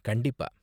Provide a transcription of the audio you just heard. கண்டிப்பா.